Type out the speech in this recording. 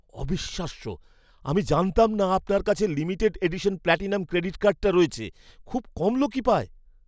অবিশ্বাস্য! আমি জানতাম না আপনার কাছে লিমিটেড এডিশন প্ল্যাটিনাম ক্রেডিট কার্ডটা রয়েছে। খুব কম লোকই পায়।